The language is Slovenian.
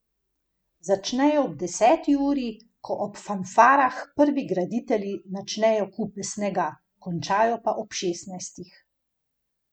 Začnejo ob deseti uri, ko ob fanfarah prvi graditelji načnejo kupe snega, končajo pa ob šestnajstih.